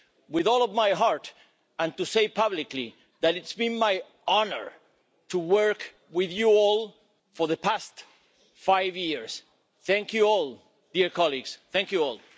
with all of my heart, and to say publicly that it's been my honour to work with you all for the past five years. Thank you all, dear colleagues, thank you all.